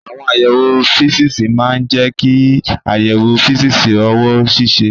Àwọn àyẹ̀wò físíìsì máa ń jẹ́ kí àyẹ̀wò físíìsì ọwọ́ ṣiṣẹ́.